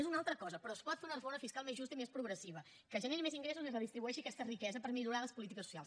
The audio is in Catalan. és una altra cosa però es pot fer una reforma fiscal més justa i més progressiva que generi més ingressos i redistribueixi aquesta riquesa per millorar les polítiques socials